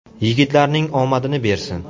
Yigitlarning omadini bersin.